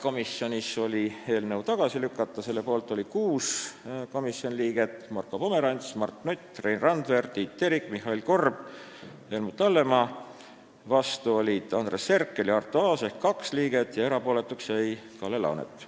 Komisjon otsustas eelnõu tagasi lükata, selle poolt oli 6 komisjoni liiget vastu olid Andres Herkel ja Arto Aas ehk 2 liiget ja erapooletuks jäi Kalle Laanet.